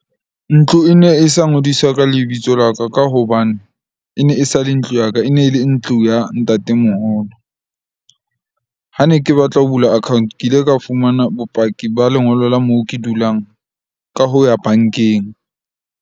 Ntlo e ne e sa ngodiswa ka lebitso la ka, ka hobane e ne e sa le ntlo ya ka. E ne le ntlo ya ntate moholo. Ha ne ke batla ho bula account, ke ile ka fumana bopaki ba lengolo la moo ke dulang ka ho ya bank-eng.